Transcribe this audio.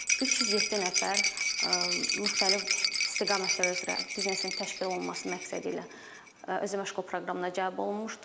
307 nəfər müxtəlif istiqamətlər üzrə biznesin təşkil olunması məqsədilə özəməşğulluq proqramına cəlb olunmuşdur.